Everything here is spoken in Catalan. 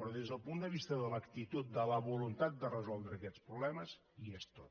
però des del punt de vista de l’actitud de la voluntat de resoldre aquests problemes hi és tota